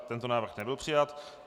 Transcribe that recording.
Tento návrh nebyl přijat.